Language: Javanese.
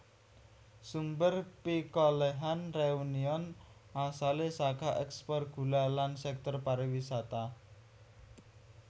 Sumber pikolèhan Réunion asalé saka ekspor gula lan sektor pariwisata